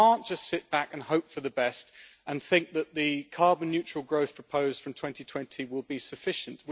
We cannot just sit back and hope for the best and think that the carbon neutral growth proposed from 2020 will be sufficient.